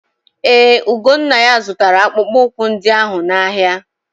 Ee, Ugonnaya zụtara akpụkpọ ụkwụ ndị ahụ n'ahịa.